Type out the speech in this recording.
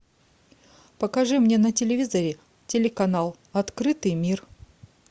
покажи мне на телевизоре телеканал открытый мир